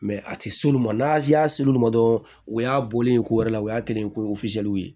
a tɛ s'olu ma n'a y'a se olu ma dɔrɔn o y'a bɔlen ko wɛrɛ la o y'a kelen ko ye